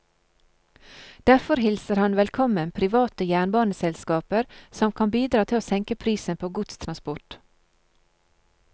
Derfor hilser han velkommen private jernbaneselskaper som kan bidra til å senke prisen på godstransport.